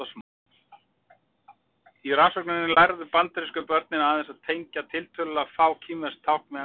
Í rannsókninni lærðu bandarísku börnin aðeins að tengja tiltölulega fá kínversk tákn við ensk orð.